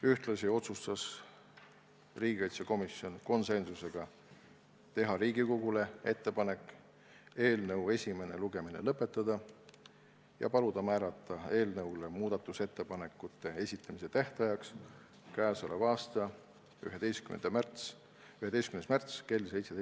Ühtlasi otsustas riigikaitsekomisjon konsensusega teha Riigikogule ettepanek eelnõu esimene lugemine lõpetada ja paluda määrata eelnõu kohta muudatusettepanekute esitamise tähtajaks k.a 11. märts kell 17.